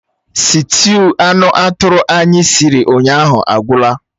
Sịtịụ anụ atụrụ anyị siri ụnyaahụ agwụla